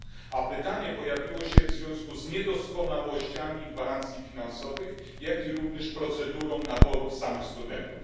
A pytanie pojawiło się w związku z niedoskonałościami gwarancji finansowych, jak również z procedurą naboru samych studentów.